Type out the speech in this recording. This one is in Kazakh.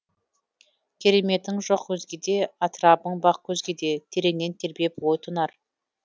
кереметің жоқ өзгеде атырабың бақ көзгеде тереңнен тербеп ой тұнар